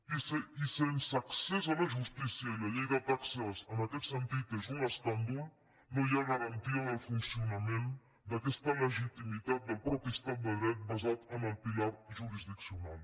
i sense accés a la justícia i la llei de taxes en aquest sentit és un escàndol no hi ha garantia del funcionament d’aquesta legitimitat del mateix estat de dret basat en el pilar jurisdiccional